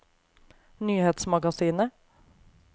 nyhetsmagasinet